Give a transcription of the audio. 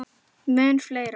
Mun fleiri.